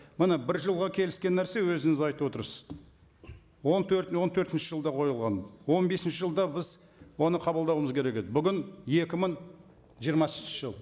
міне бір жылға келіскен нәрсе өзіңіз айтып отырсыз он төрт он төртінші жылда қойылған он бесінші жылда біз оны қабылдауымыз керек еді бүгін екі мың жиырмасыншы жыл